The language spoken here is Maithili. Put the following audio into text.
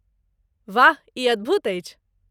वाह, ई अद्भुत अछि।